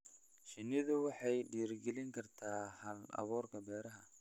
Shinnidu waxay dhiirigelin kartaa hal-abuurka beeraha.